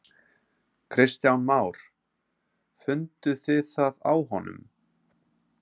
Kristján Már: Funduð þið það á honum?